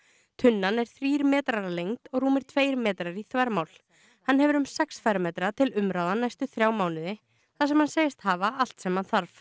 tunnan er þrír metrar að lengd og rúmir tveir metrar í þvermál hann hefur um sex fermetra til umráða næstu þrjá mánuði þar sem hann segist hafa allt sem hann þarf